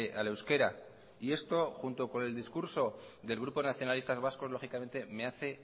al euskera y esto junto con el discurso del grupo nacionalistas vascos lógicamente me hace